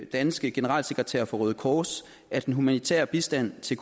danske generalsekretær for røde kors at den humanitære bistand til